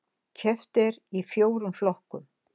Keppt er í fjórum flokkum